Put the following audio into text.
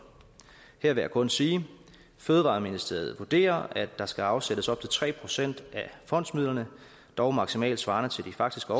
her vil jeg kun sige fødevareministeriet vurderer at der skal afsættes op til tre procent af fondsmidlerne dog maksimalt svarende til de faktiske